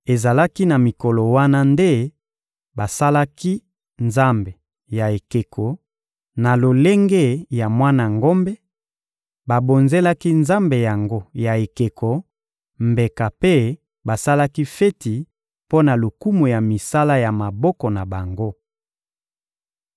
Ezalaki na mikolo wana nde basalaki nzambe ya ekeko, na lolenge ya mwana ngombe; babonzelaki nzambe yango ya ekeko mbeka mpe basalaki feti mpo na lokumu ya misala ya maboko na bango.